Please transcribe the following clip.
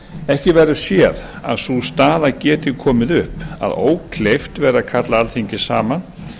ekki verður séð að sú staða geti komið upp að ókleift verði að kalla alþingi saman